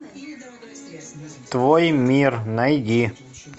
твой мир найди